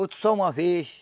Outro só uma vez.